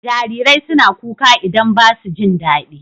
Jarirai suna kuka idan ba su jin dadi.